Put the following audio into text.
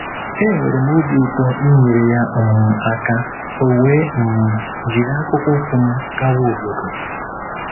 Enwere m obi ụtọ inyere ya um aka, o wee um jiri akpụkpọ ụkwụ m gawa obodo.